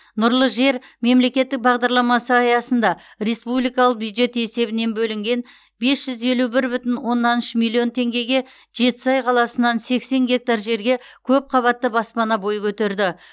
нұрлы жер мемлекеттік бағдарламасы аясында республикалық бюджет есебінен бөлінген бес жүз елу бір бүтін оннан үш миллион теңгеге жетісай қаласынан сексен гектар жерге көпқабатты баспана бой көтерді